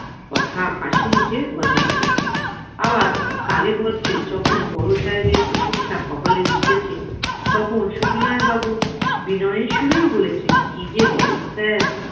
কথা হাসিমুখে হজম করেছেন আবার কালে ভদ্রে যখন বড় সাহেবের প্রশংসা কপালে জুটেছে তখন সুবিনয় বাবু বিনয়ের সুরেই বলেছিলেন কি যে বলেন sir